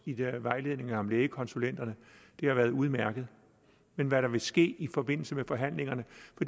i de der vejledninger om lægekonsulenter har været udmærket men hvad der vil ske i forbindelse med forhandlingerne